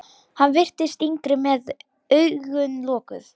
Hann virtist yngri með augun lokuð.